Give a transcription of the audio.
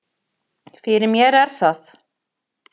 Fyrir mér er það